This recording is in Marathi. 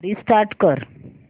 रिस्टार्ट कर